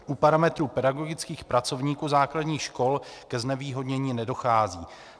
U parametrů pedagogických pracovníků základních škol ke znevýhodnění nedochází.